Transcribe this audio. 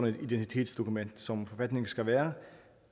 et identitetsdokument som forfatningen skal være